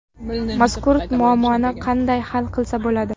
Mazkur muammoni qanday hal qilsa bo‘ladi?